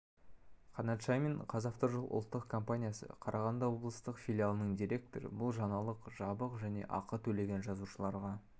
қанат шаймин қазавтожол ұлттық компаниясы қарағанды облыстық филиалының директоры бұл жаңалық жабық және ақы төлеген жазылушыларға